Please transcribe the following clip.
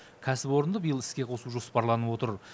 кәсіпорынды биыл іске қосу жоспарланып отыр